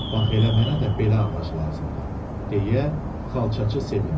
Bax elə mənə də belə ağac lazımdır, deyə xalçaçı sevindi.